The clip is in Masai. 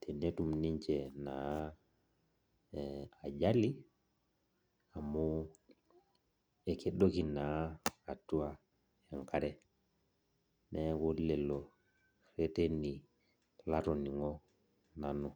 tenetum ninche ajali amu kedoki na ninche enkare neaku lolo rereteni latoningo nanu.